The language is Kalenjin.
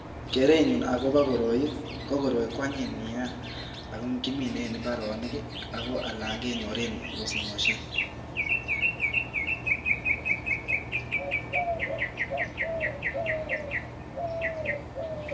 Kerenyun akobo koroi ko koroi ko anyiny nea, ako kiminei eng imbaaronik ako alak kenyor eng osinosiek.